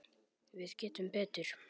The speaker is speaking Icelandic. Við getum betur.